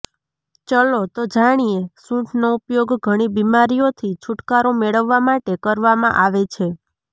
ચલો તો જાણીએ સૂંઠનો ઉપયોગ ઘણી બિમારીઓથી છુટકારો મેળવવા માટે કરવામાં આવે છે